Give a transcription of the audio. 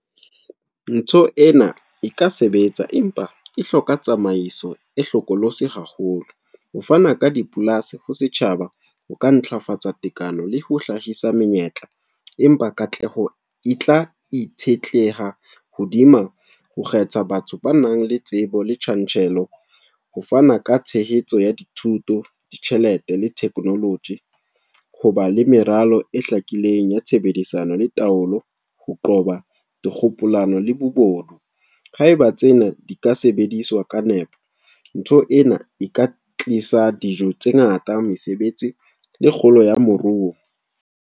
Ntho ena e ka sebetsa, empa e hloka tsamaiso e hlokolosi haholo. Ho fana ka dipolasi ho setjhaba, ho ka ntlafatsa tekano le ho hlahisa menyetla. Empa katleho e tla itshetleha hodima ho kgetha batho ba nang le tsebo le tjantjello. Ho fana ka tshehetso ya dithuto, ditjhelete le technology. Hoba le meralo e hlakileng ya tshebedisano le taolo. Ho qoba dikgokolano le bobodu. Haeba tsena di ka sebediswa ka nepo, ntho ena e ka tlisa dijo tse ngata, mesebetsi, le kgolo ya moruo.